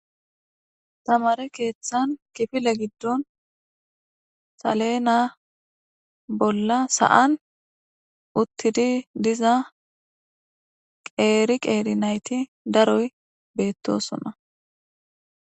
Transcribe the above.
tamare keeththan kifile giddon saleena bolla sa7an uttidi diza qeeri qeeri nayti daroy beettosona